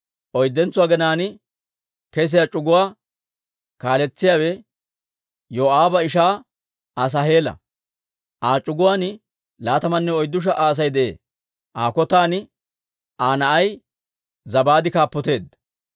Oyddentso aginaan kesiyaa c'uguwaa kaaletsiyaawe Yoo'aaba ishaa Asaaheela; Aa c'uguwaan laatamanne oyddu sha"a Asay de'ee. Aa kotan Aa na'ay Zabaade kaappoteedda.